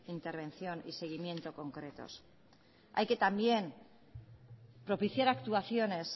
intervención y seguimiento concretos hay que también propiciar actuaciones